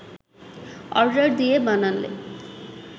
order দিয়ে বানালে